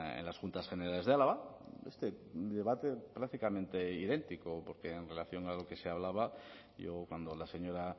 en las juntas generales de álava este debate prácticamente idéntico porque en relación a lo que se hablaba yo cuando la señora